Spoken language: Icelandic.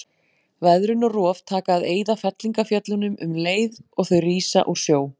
Veðrun og rof taka að eyða fellingafjöllunum um leið og þau rísa úr sjó.